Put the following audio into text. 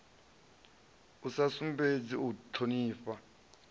a sa sumbedzi u thonifha